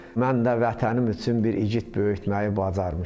Mən də vətənim üçün bir igid böyütməyi bacarmışam.